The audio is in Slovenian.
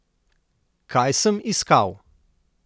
Kaj sem iskal?